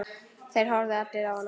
Þeir horfðu allir á hana.